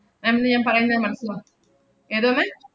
ma'am ന് ഞാൻ പറയുന്ന മനസ്സിലാ~ ഏതാണ്?